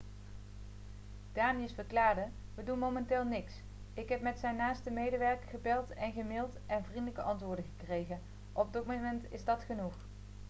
danius verklaarde 'we doen momenteel niks. ik heb met zijn naaste medewerker gebeld en gemailed en vriendelijke antwoorden gekregen. op dit moment is dat genoeg.'